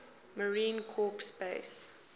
marine corps base